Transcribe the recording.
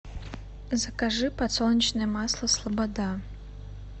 закажи подсолнечное масло слобода